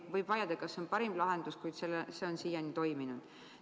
Võib vaielda, kas see on parim lahendus, kuid see on siiani toiminud.